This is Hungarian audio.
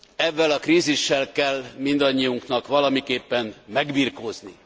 Evvel a krízissel kell mindannyiunknak valamiképpen megbirkózni.